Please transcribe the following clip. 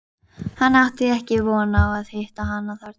Hann átti ekki von á að hitta hana þarna.